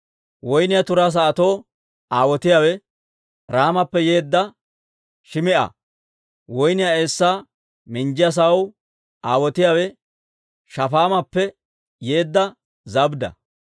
Woynniyaa turaa sa'atoo aawotiyaawe Raamappe yeedda Shim"a. Woynniyaa eessaa minjjiyaa sa'aw aawotiyaawe Shafaamappe yeedda Zabdda.